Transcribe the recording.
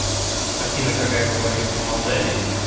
афина какая валюта в молдавии